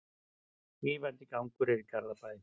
Rífandi gangur er í Garðabæ.